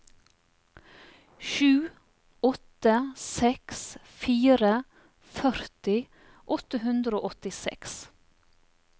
sju åtte seks fire førti åtte hundre og åttiseks